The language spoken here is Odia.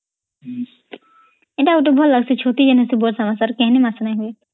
ଏଟା ଗୋଟେ ଭଲ କି ଛତି କେନ ବର୍ଷା ମାସ ଆଉ କେଇନ ମାସ ର ନା ହୁଏ